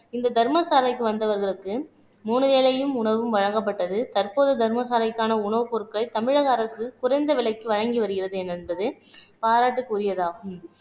இந்த தர்ம சாலைக்கு வந்தவர்களுக்கு மூணு வேளையும் உணவும் வழங்கப்பட்டது தற்போது தர்மசாலைக்கான உணவுப் பொருட்கள் தமிழக அரசு குறைந்த விலைக்கு வழங்கி வருகிறது என்பது பாராட்டுக்குரியதாகும்